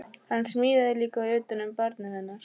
Hann smíðaði líka utan um barnið hennar